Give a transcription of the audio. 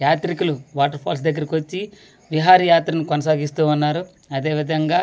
యాత్రికిలు waterfalls దెగ్గరికి వచ్చి విహారయాత్ర ని కొనసాగిస్తువున్నారు అదే విధంగా ఎంతో .]